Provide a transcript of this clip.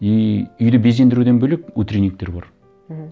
и үйді безендіруден бөлек утренниктер бар мхм